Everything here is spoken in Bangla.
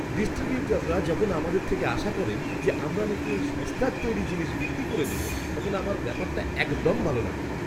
ডিস্ট্রিবিউটররা যখন আমাদের থেকে আশা করেন যে আমরা নাকি এই সস্তার তৈরি জিনিস বিক্রি করে দেব তখন আমার ব্যাপারটা একদম ভালো লাগে না!